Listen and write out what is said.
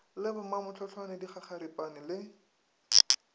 le bo mamohlohlwane dikgakgaripane le